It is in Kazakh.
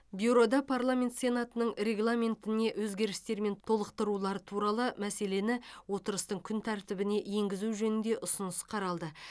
бюрода парламент сенатының регламентіне өзгерістер мен толықтырулар туралы мәселені отырыстың күн тәртібіне енгізу жөнінде ұсыныс қаралды